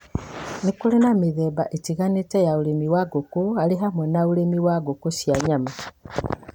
Nĩ kũrĩ na mĩthemba ĩtiganĩte ya ũrĩmi wa ngũkũ arĩ hamwe na ũrĩmi wa ngũkũ cia nyama,